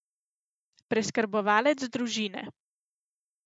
Preskrbovalec družine.